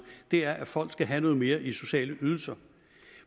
er at folk skal have noget mere i sociale ydelser